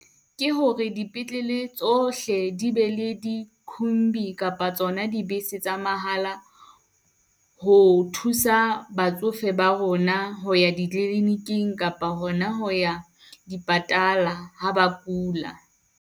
Ke hore dipetlele tsohle di be le dikhumbi kapa tsona dibese tsa mahala. Ho thusa batsofe ba rona ho ya dikliniking kapa hona ho ya dipatala ha ba kula.